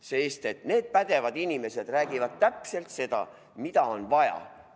Sest pädevad inimesed räägivad täpselt seda, mida on vaja.